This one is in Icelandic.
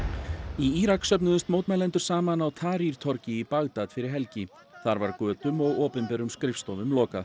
í Írak söfnuðust mótmælendur saman á torgi í Bagdad fyrir helgi þar var götum og opinberum skrifstofum lokað